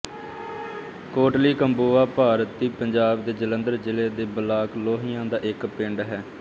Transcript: ਕੋਟਲੀ ਕੰਬੋਆਂ ਭਾਰਤੀ ਪੰਜਾਬ ਦੇ ਜਲੰਧਰ ਜ਼ਿਲ੍ਹੇ ਦੇ ਬਲਾਕ ਲੋਹੀਆਂ ਦਾ ਇੱਕ ਪਿੰਡ ਹੈ